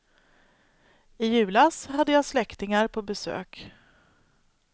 I julas hade jag släktingar på besök.